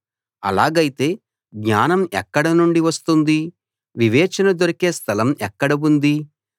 అలాగైతే జ్ఞానం ఎక్కడనుండి వస్తుంది వివేచన దొరికే స్థలం ఎక్కడ ఉంది